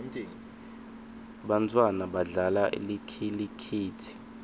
bantfwana badlala likhilikithi